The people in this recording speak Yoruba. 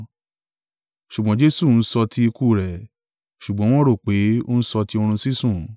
Ṣùgbọ́n Jesu ń sọ ti ikú rẹ̀, ṣùgbọ́n wọ́n rò pé, ó ń sọ ti orun sísùn.